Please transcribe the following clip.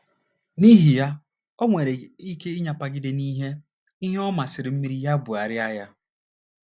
N’ihi ya, o nwere ike ịnyapagide n’ihe ihe ọ masịrị mmiri bugharịa ya.